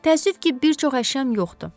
Təəssüf ki, bir çox əşyam yoxdur.